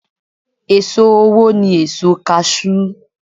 È̀so owó ni èso kaṣú.